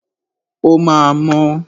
O máa mọ́.